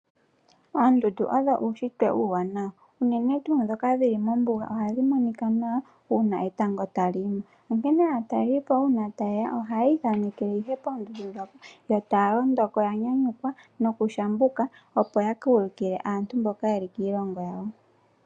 Oondundu odho uushitwe uuwanawa, unene tuu ndhoka dhili mombuga oha dhi monika nawa uuna etango ta li yimo/ ningine ,Onkene aatalelipo uuna ta yeya oha yi ithanekele ihe poondundu ndhoka yo taya londoko ya nyanyukwa noku shambuka opo ya ka ulukile aantu mboka mboka ye li kiilongo yawo.